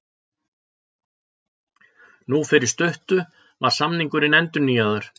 Nú fyrir stuttu var samningurinn endurnýjaður.